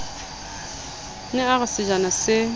ne a re sejana se